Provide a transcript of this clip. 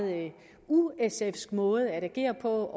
u sfsk måde at agere på